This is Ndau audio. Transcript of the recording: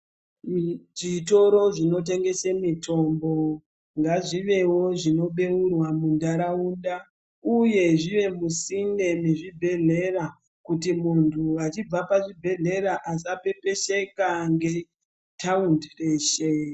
Zvitoro zvino tengese mitombo ngazvivewo zvino beurwa mu ndaraunda uye zvive musinde me zvibhedhlera kuti muntu achibva pa zvibhedhlera asa pepesheka nge taundi reshe.